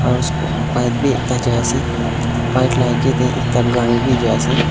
bike bhi ekta chalai se bike laga age te ekta gari bhi jai ase.